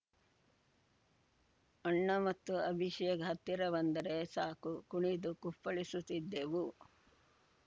ಅಣ್ಣ ಮತ್ತು ಅಭಿಷೇಕ್‌ ಹತ್ತಿರ ಬಂದರೆ ಸಾಕು ಕುಣಿದು ಕುಪ್ಪಳಿಸುತ್ತಿದ್ದವು